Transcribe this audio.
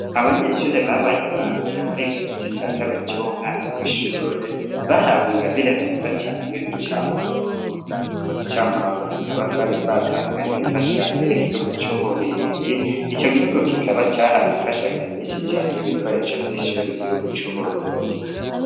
Abanyeshure babaye aba mbere muri iki gice ca kabiri c'uwu mwaka w'ishure bahawe ingabire nziza cane y'uducamurongo, utwo ducamurongo tukaba twari twatanzwe n'imfashanyo y'igihugu c'Ububirigi, ico gihugu kikaba cahaye imfashanyo nyinshi cane y'ibikoresho vy'ishure igihugu c'Uburundi.